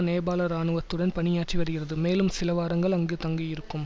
நேபாள இராணுவத்துடன் பணியாற்றி வருகிறது மேலும் சில வாரங்கள் அங்கு தங்கியிருக்கும்